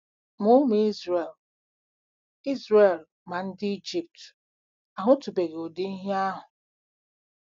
MA ụmụ Izrel Izrel ma ndị Ijipt ahụtụbeghị ụdị ihe ahụ.